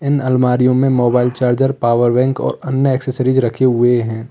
इन आलमारियों में mobile charger power bank और अन्य एक्सेसरीज रखे हुए हैं।